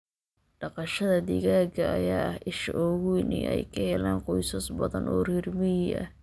Dhaqashada digaaga ayaa ah isha ugu weyn ee ay ka helaan qoysas badan oo reer miyi ah.